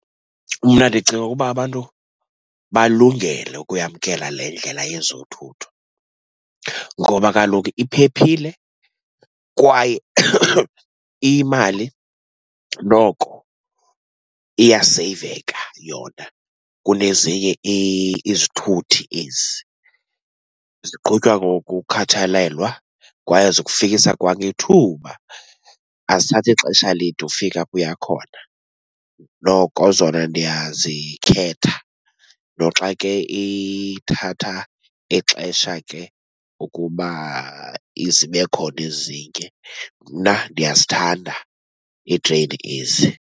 Mna ndicinga ukuba abantu balungele ukuyamkela le ndlela yezothutho ngoba kaloku iphephile kwaye iyimali. Noko iyaseyiveka yona kunezinye izithuthi ezi. Ziqhutywa ngokukhathalelwa kwaye zikufikisa kwangethuba. Azithathi xesha lide ufika apho uya khona. Noko zona ndiyazikhetha noxa ke ithatha ixesha ke ukuba izibe khona ezinye. Mna ndiyazithanda iitreyini ezi.